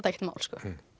ekkert mál